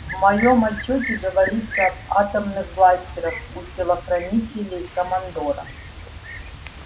в моем отчёте говорится об атомных бластерах у телохранителей командора